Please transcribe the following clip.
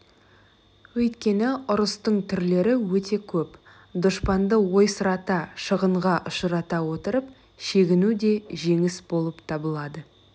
өйткені ұрыстың түрлері өте көп дұшпанды ойсырата шығынға ұшырата отырып шегіну де жеңіс болып табылады